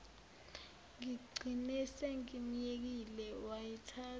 ngigcine sengimyekile wayithatha